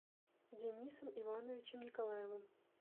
денисом ивановичем николаевым